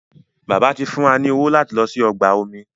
Bàbá tí fún wá ní owo lati ló sì ọgbà omi